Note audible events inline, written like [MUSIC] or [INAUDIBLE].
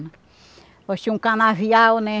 [SIGHS] Nós tinha um canavial, né?